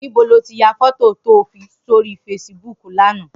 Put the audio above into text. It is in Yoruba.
Nibó ló ti yá fòtó tó fi sóri fésibúk làná?